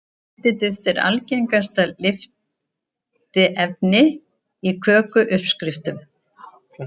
Lyftiduft er algengasta lyftiefni í kökuuppskriftum.